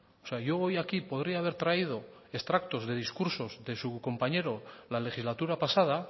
o sea yo hoy aquí podría haber traído extractos de discursos de su compañero de la legislatura pasada